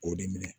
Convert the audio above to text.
K'o de minɛ